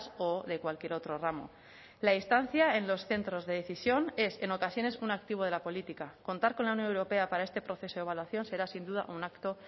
o de cualquier otro ramo la instancia en los centros de decisión es en ocasiones un activo de la política contar con la unión europea para este proceso de evaluación será sin duda un acto